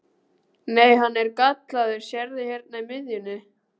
Nei, hann er gallaður, sérðu hérna í miðjunni.